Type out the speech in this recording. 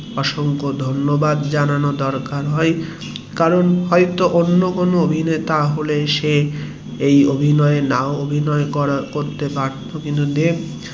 অসংখ ধন্যবাদ জানানোর দরকার হয়ে কারণ হয়তো অন্য কোনো অভিনেতা হলে এই অভিনয়ে নাও হয়তো করতে পারতো কিন্তু দেব